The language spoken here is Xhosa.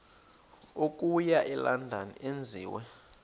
okuya elondon enziwe